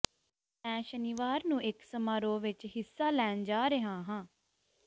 ਮੈਂ ਸ਼ਨੀਵਾਰ ਨੂੰ ਇਕ ਸਮਾਰੋਹ ਵਿਚ ਹਿੱਸਾ ਲੈਣ ਜਾ ਰਿਹਾ ਹਾਂ